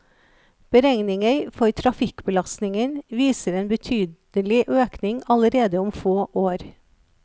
Beregninger for trafikkbelastningen viser en betydelig økning allerede om få år.